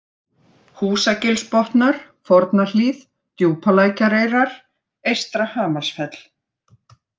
Húsagilsbotnar, Fornahlíð, Djúpalækjareyrar, Eystra-Hamarsfell